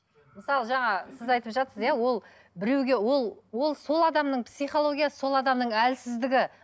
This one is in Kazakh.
мысалы жаңа сіз айтып жатырсыз иә ол біреуге ол ол сол адамның психологиясы сол адамның әлсіздігі